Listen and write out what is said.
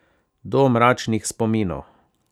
Do mračnih spominov.